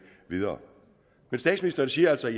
videre statsministeren siger altså at